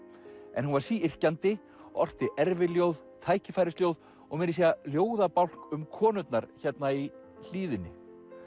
en hún var orti erfiljóð tækifærisljóð og meira að segja ljóðabálk um konurnar hérna í hlíðinni